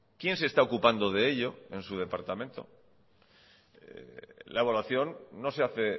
quién se está ocupando de ello en su departamento la evaluación no se hace